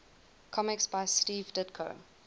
comics by steve ditko